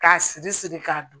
K'a siri siri ka dun